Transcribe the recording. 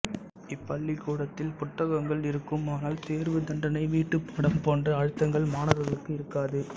இப்பள்ளிகூடத்தில் புத்தகங்கள் இருக்கும் ஆனால் தேர்வு தண்டனை வீட்டுப்பாடம் போன்ற அழுத்தங்கள் மாணவர்களுக்கு இருக்காது